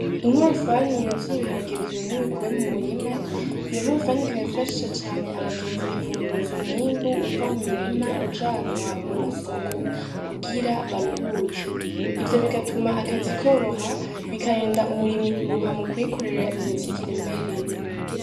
Inkorofani yuzuye ibiharage vyumye bikuwe mu murima iyo nkorofani ikaba ifasha cane abagenzi mu kunguruza umwimbu uva mu murima ujanwa mu masoko kugira baruhuke ivyo bigatuma akazi koroha bikarinda umurimyi mu kwikorera imizigo iremereye.